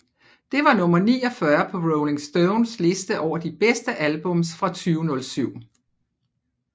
Det var nummer 49 på Rolling Stones liste over de bedste albums fra 2007